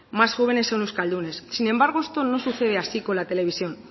más jóvenes son euskaldunes sin embargo esto no sucede así con la televisión